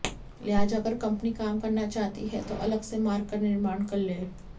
लिहाजा अगर कंपनी काम करना चाहती है तो अलग से मार्ग का निर्माण कर ले